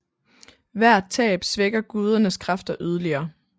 Hvert tab svækker gudernes kræfter yderligere